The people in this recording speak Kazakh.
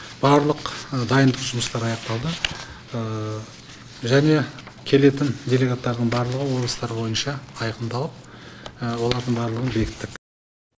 барлық дайындық жұмыстары аяқталды және келетін делегаттардың барлығы облыстар бойынша айқындалып олардың барлығын бекіттік